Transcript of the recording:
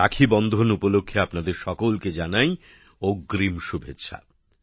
রাখীবন্ধন উপলক্ষে আপনাদের সকলকে জানাই অগ্রিম শুভেচ্ছা